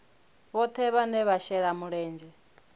vhohe vhane vha shela mulenzhe